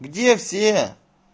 где все